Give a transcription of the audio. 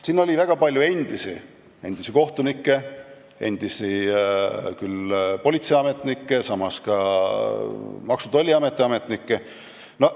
Siin oli väga palju endisi: endisi kohtunikke, endisi politseiametnikke, ka endisi Maksu- ja Tolliameti ametnikke.